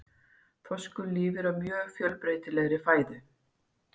Þorskur lifir á mjög fjölbreytilegri fæðu.